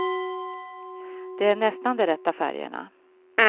Det är nästan de rätta färgerna.